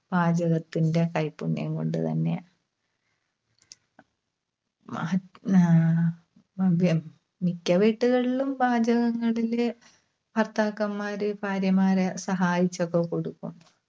പാചകത്തിൻറെ കൈപ്പുണ്യം കൊണ്ടുതന്നെയാ. മ്ഹ് ആഹ് മിക്ക വീട്ടുകളിലും പാചകങ്ങളില് ഭർത്താക്കന്മാര് ഭാര്യമാരെ സഹായിച്ചൊക്കെ കൊടുക്കും.